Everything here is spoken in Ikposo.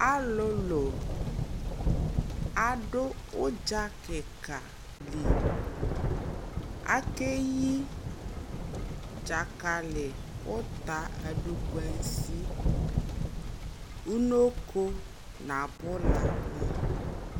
alʋlʋ adʋ ʋdza kikaa li akɛyi dzakali ʋta, adʋkwansi, ʋnɔkɔ nʋ abʋlani